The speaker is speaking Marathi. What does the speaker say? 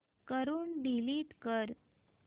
वरून डिलीट कर